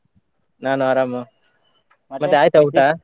ನಾನು ಆರಾಮ, ಮತ್ತೆ ಆಯ್ತಾ ಊಟ?